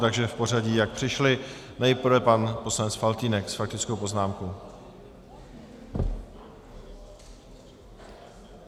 Takže v pořadí, jak přišly, nejprve pan poslanec Faltýnek s faktickou poznámkou.